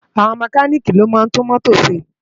Awòn Mèkánìkí ló má ntú mótó sé